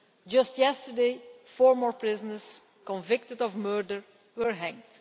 Just yesterday, four more prisoners convicted of murder were hanged.